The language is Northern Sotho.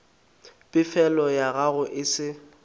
pefelo ya gago e se